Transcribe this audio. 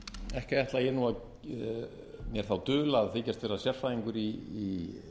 ekki ætla ég nú mér þá dul að þykjast vera sérfræðingur í